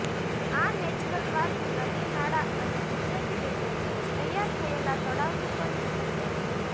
આ natural park નદીનાળા અને કુદરતી રીતે તૈયાર થયેલા તળાવનું પણ જતન કરે છે